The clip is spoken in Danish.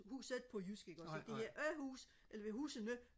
huset på jysk ikke også så det hedder øh hus eller det hedder husene